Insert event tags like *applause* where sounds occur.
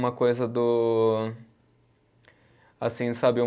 Uma coisa do, assim, sabe *unintelligible*